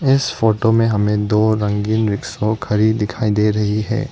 इस फोटो में हमें दो रंगीन रिक्शा खड़ी दिखाई दे रही है।